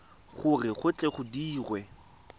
gore go tle go dirwe